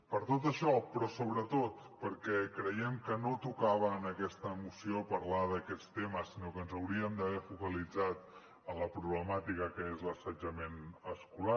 per tot això però sobretot perquè creiem que no tocava en aquesta moció parlar d’aquests temes sinó que ens hauríem d’haver focalitzat en la problemàtica que és l’assetjament escolar